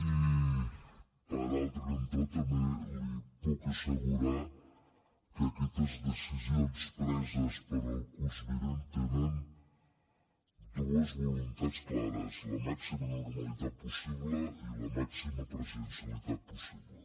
i per altre cantó també li puc assegurar que aquestes decisions preses pel curs vinent tenen dues voluntats clares la màxima normalitat possible i la màxima presencialitat possible